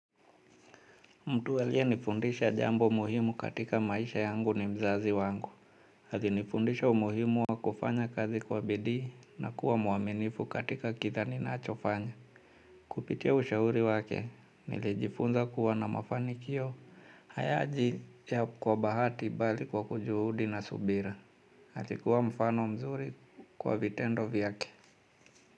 Mtu aliye nifundisha jambo muhimu katika maisha yangu ni mzazi wangu. Alinifundisha umuhimu wa kufanya kazi kwa bidii na kuwa mwaminifu katika kila ninachofanya. Kupitia ushauri wake, niljifunza kuwa na mafanikio. Hayaji ya kwa bahati bali kwa kujuhudi na subira. Hati kuwa mfano mzuri kwa vitendo vyake.